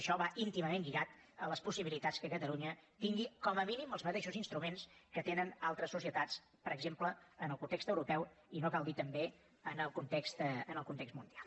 això va íntimament lligat a les possibilitats que catalunya tingui com a mínim els mateixos instruments que tenen altres societats per exemple en el context europeu i no cal dir ho també en el context mundial